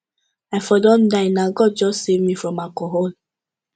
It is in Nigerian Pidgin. i for don die na god just save me from alcohol